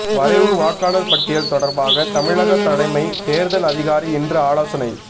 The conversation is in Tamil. வரைவு வாக்காளர் பட்டியல் தொடர்பாக தமிழக தலைமை தேர்தல் அதிகாரி இன்று ஆலோசனை